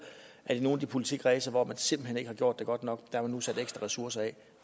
at i nogle af de politikredse hvor man simpelt hen ikke har gjort det godt nok har man nu sat ekstra ressourcer af